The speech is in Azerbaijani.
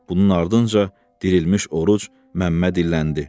Bunun ardınca dirilmiş Oruc Məmməd illəndi.